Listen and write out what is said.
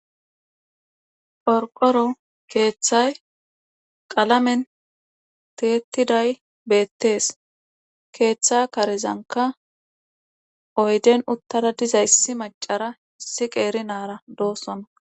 Qorqoro kethay qalamen tiyetidays betrs oydeutada dizaysi hara issi nara dizaysa